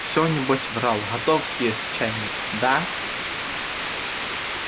все небось врал готов съесть чайник да